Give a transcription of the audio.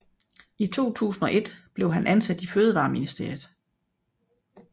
I 2001 blev han ansat i Fødevareministeriet